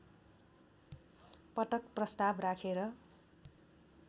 पटक प्रस्ताव राखेर